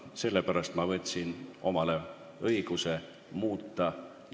Sellepärast ma võtsin omale õiguse korda muuta.